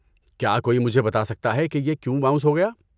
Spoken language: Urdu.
کیا کوئی مجھے بتا سکتا ہے کہ یہ کیوں باؤنس ہو گیا؟